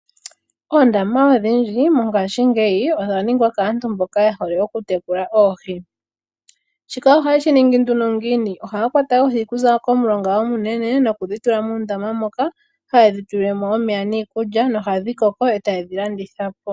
Oondama odhindji mongashingeyi odha ningwa kaantu mboka ye hole okutekula oohi. Shika ohaye shi ningi nduno ngiini? Ohaya kwata oohi okuza komulonga omunene nokudhi tula muundama moka haye dhi tulile mo omeya niikulya nohadhi koko e taye dhi landitha po.